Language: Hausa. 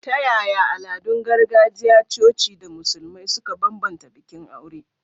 Ta yaya al'adun gargajiya, coci, da Musulmai suka bambanta bikin aure?